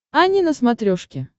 ани на смотрешке